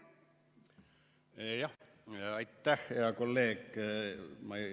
Aitäh, hea kolleeg!